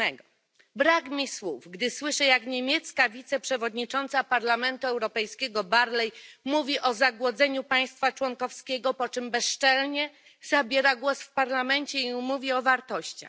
7. Brak mi słów, gdy słyszę, jak niemiecka wiceprzewodnicząca Parlamentu Europejskiego Barley mówi o zagłodzeniu państwa członkowskiego, po czym bezczelnie zabiera głos w Parlamencie i mówi o wartościach.